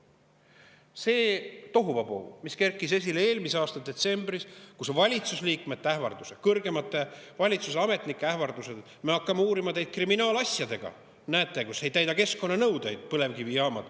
Eelmise aasta detsembris tekkis tohuvabohu, kui kõlasid valitsuse liikmete või kõrgemate valitsusametnike ähvardused, et me hakkame asja uurima kriminaalmenetlustes, kui põlevkivijaamad ei täida keskkonnanõudeid.